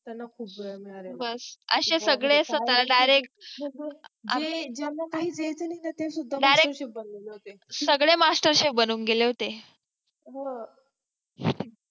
त्यांना खूप वेळ मिळालं बघ असे सगळे ज्यांना काहीच यायचं नाही ते सगळे mastercef बनून गेले होते हो